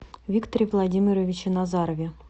викторе владимировиче назарове